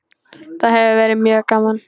Það hefur verið mjög gaman.